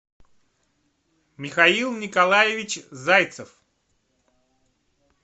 михаил николаевич зайцев